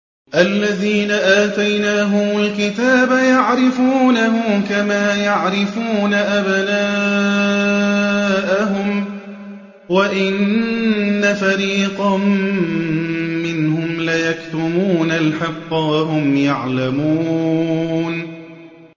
الَّذِينَ آتَيْنَاهُمُ الْكِتَابَ يَعْرِفُونَهُ كَمَا يَعْرِفُونَ أَبْنَاءَهُمْ ۖ وَإِنَّ فَرِيقًا مِّنْهُمْ لَيَكْتُمُونَ الْحَقَّ وَهُمْ يَعْلَمُونَ